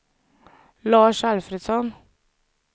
Lars Alfredsson